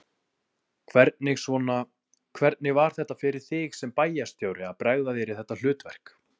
Hvernig svona, hvernig var þetta fyrir þig sem bæjarstjóri að bregða þér í þetta hlutverk?